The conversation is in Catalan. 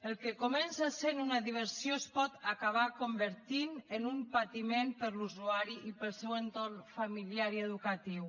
el que comença sent una diversió es pot acabar convertint en un patiment per a l’usuari i per al seu entorn familiar i educatiu